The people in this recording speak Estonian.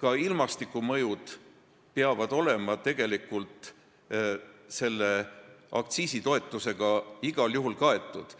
Ka ilmastikumõjud peavad olema selle aktsiisitoetusega igal juhul kaetud,